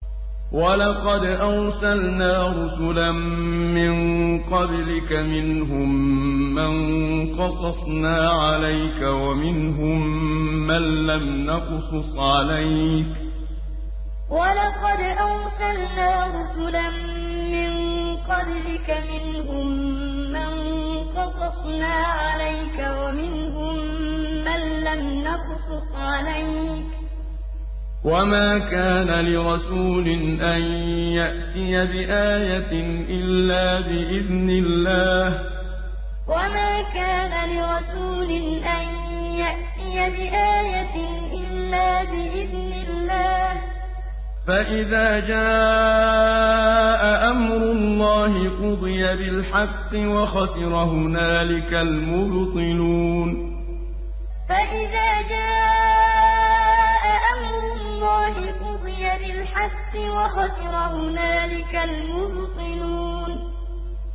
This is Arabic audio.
وَلَقَدْ أَرْسَلْنَا رُسُلًا مِّن قَبْلِكَ مِنْهُم مَّن قَصَصْنَا عَلَيْكَ وَمِنْهُم مَّن لَّمْ نَقْصُصْ عَلَيْكَ ۗ وَمَا كَانَ لِرَسُولٍ أَن يَأْتِيَ بِآيَةٍ إِلَّا بِإِذْنِ اللَّهِ ۚ فَإِذَا جَاءَ أَمْرُ اللَّهِ قُضِيَ بِالْحَقِّ وَخَسِرَ هُنَالِكَ الْمُبْطِلُونَ وَلَقَدْ أَرْسَلْنَا رُسُلًا مِّن قَبْلِكَ مِنْهُم مَّن قَصَصْنَا عَلَيْكَ وَمِنْهُم مَّن لَّمْ نَقْصُصْ عَلَيْكَ ۗ وَمَا كَانَ لِرَسُولٍ أَن يَأْتِيَ بِآيَةٍ إِلَّا بِإِذْنِ اللَّهِ ۚ فَإِذَا جَاءَ أَمْرُ اللَّهِ قُضِيَ بِالْحَقِّ وَخَسِرَ هُنَالِكَ الْمُبْطِلُونَ